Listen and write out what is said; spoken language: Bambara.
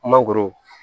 Mangoro